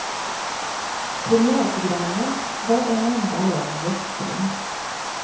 Premiärprogrammet var en enda lång gäspning.